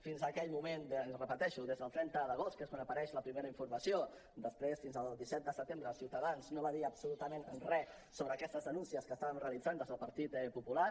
fins aquell moment ho repeteixo des del trenta d’agost que és quan apareix la primera informació després fins al disset de setembre ciutadans no va dir absolutament res sobre aquestes denúncies que estàvem realitzant des del partit popular